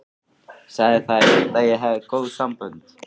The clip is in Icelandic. Sagði það eitt að ég hefði góð sambönd.